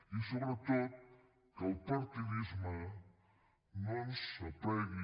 i sobretot que el partidisme no ens aplegui